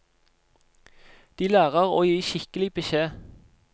De lærer å gi skikkelig beskjed.